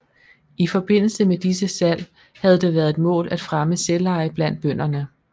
I forbindelse med disse salg havde det været et mål at fremme selveje blandt bønderne